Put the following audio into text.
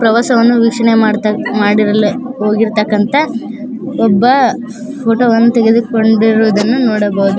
ಪ್ರವಾಸವನ್ನು ವೀಕ್ಷಣೆ ಮಾಡ್ತಾ ಮಾಡಿರಲ್ ಹೋಗಿರ್ತಕ್ಕಂತ ಒಬ್ಬ ಫೋಟೋ ವನ್ನು ತೆಗೆದುಕೊಂಡಿರುವುದನ್ನು ನೋಡಬಹುದು.